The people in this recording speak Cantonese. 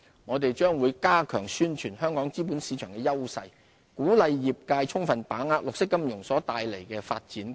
我們將加強宣傳香港資本市場的優勢，鼓勵業界充分把握綠色金融所帶來的發展機遇。